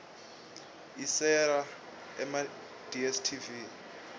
iserela emadstv